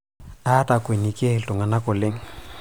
aatakwenikie iltung'anak oleng'